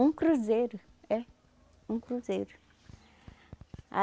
Um cruzeiro, é. Um cruzeiro.